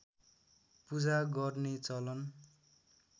पूजा गर्ने चलन